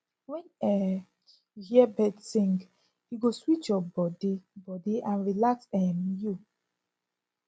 when um you hear birds sing e go sweet your body body and relax um you